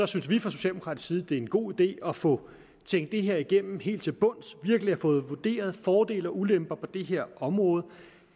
synes vi fra socialdemokratisk side at det er en god idé at få tænkt det her igennem helt til bunds virkelig at få vurderet fordele og ulemper på det her område